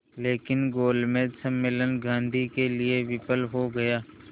लेकिन गोलमेज सम्मेलन गांधी के लिए विफल हो गया